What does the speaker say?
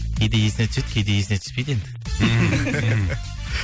кейде есіне түседі кейде есіне түспейді енді